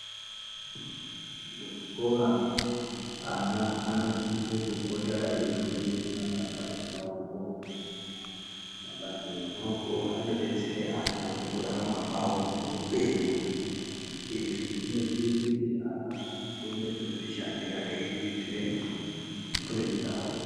Muzvikora ana anosise kupota eifunde mabasa emaoko. Mabasa emaoko anobetsere ana mukurarama kwavo muupenyu. Izvi zvinozoite kuti ana azokone kuzvishandira eiriritire mburi dzawo.